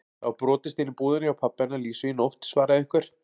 Það var brotist inn í búðina hjá pabba hennar Lísu í nótt svaraði einhver.